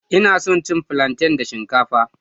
Ina son cin plantain da shinkafa